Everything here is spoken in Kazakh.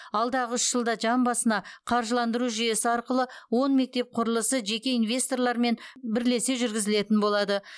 алдағы үш жылда жан басына қаржыландыру жүйесі арқылы он мектеп құрылысы жеке инвесторлармен бірлесе жүргізілетін болады